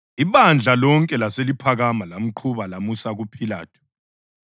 Ibandla lonke laseliphakama lamqhuba lamusa kuPhilathu.